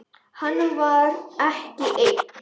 Hann var ekki einn.